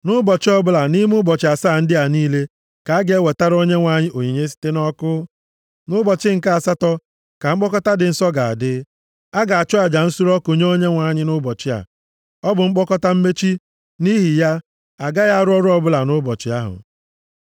Nʼụbọchị ọbụla nʼime ụbọchị asaa ndị a niile ka a ga-ewetara Onyenwe anyị onyinye site nʼọkụ. Nʼụbọchị nke asatọ ka mkpọkọta dị nsọ ga-adị. A ga-achụ aja nsure ọkụ nye Onyenwe anyị, nʼụbọchị a. Ọ bụ mkpokọta mmechi, nʼihi ya, a gaghị arụ ọrụ ọbụla nʼụbọchị ahụ.